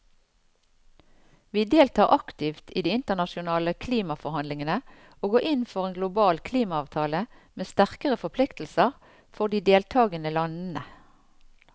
Vi deltar aktivt i de internasjonale klimaforhandlingene og går inn for en global klimaavtale med sterkere forpliktelser for de deltagende landene.